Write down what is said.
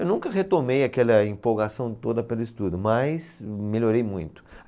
Eu nunca retomei aquela empolgação toda pelo estudo, mas melhorei muito.